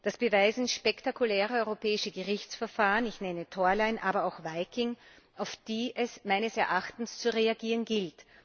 Das beweisen spektakuläre europäische Gerichtsverfahren ich nenne Torline, aber auch Viking auf die es meines Erachtens zu reagieren gilt.